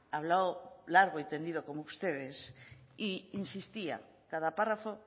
habló largo y tendido como ustedes e insistía cada párrafo